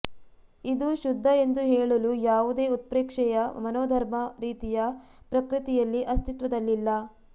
ಇದು ಶುದ್ಧ ಎಂದು ಹೇಳಲು ಯಾವುದೇ ಉತ್ಪ್ರೇಕ್ಷೆಯ ಮನೋಧರ್ಮ ರೀತಿಯ ಪ್ರಕೃತಿಯಲ್ಲಿ ಅಸ್ತಿತ್ವದಲ್ಲಿಲ್ಲ